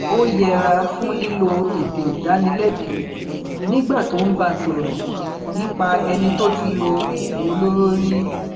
ó yẹra fún lílo èdè ìdánilẹbi nígbà tó bá ń sọrọ nípa ẹni tó ti lo oògùn olóró rí